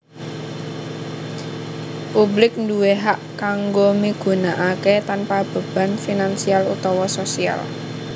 Publik nduwé hak kanggo migunakaké tanpa beban finansial utawa sosial